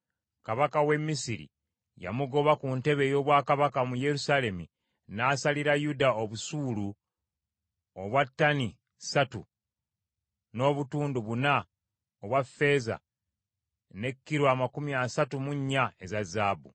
Kabaka w’e Misiri yamugoba ku ntebe ey’obwakabaka mu Yerusaalemi, n’asalira Yuda obusuulu obwa ttani ssatu n’obutundu buna obwa ffeeza ne kilo amakumi asatu mu nnya eza zaabu.